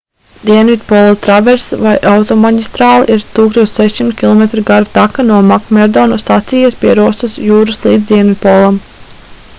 dienvidpola traverss vai automaģistrāle ir 1600 km gara taka no makmerdo stacijas pie rosas jūras līdz dienvidpolam